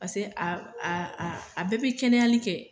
Paseke a a a a bɛɛ b'i kɛnɛyali kɛ.